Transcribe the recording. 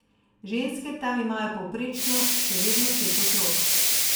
Ženske tam imajo povprečno še vedno pet otrok.